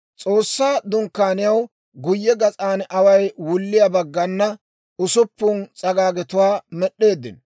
S'oossaa Dunkkaaniyaw guyye gas'an away wulliyaa baggana usuppun s'agaagetuwaa med'd'eeddino.